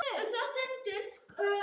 Alger skræfa eða hvað?